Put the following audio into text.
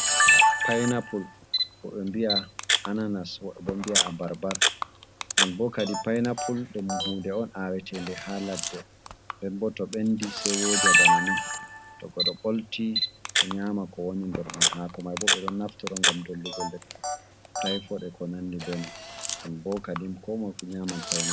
Painapul wobɓe mbiya ananas wobɓe bo mbi'a abarbar. Non bo kadi painapul dum hunde'on awetende ha ladde nden bo to bendi sei woja bana ni, to godo ɓolti o nyama ko woni nder man. Hako maibo ɓe ɗon naftoro ngam dollugo lekki taifot ko nandi benon, non bo kadim ko moi fu nyaman painapul.